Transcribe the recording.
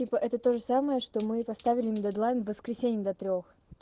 типа это тоже самое что мы поставили на дедлайн в воскресенье до трёх